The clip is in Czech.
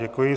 Děkuji.